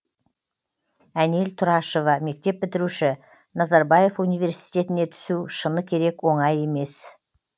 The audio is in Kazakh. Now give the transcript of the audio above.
әнел тұрашева мектеп бітіруші назарбаев университетіне түсу шыны керек оңай емес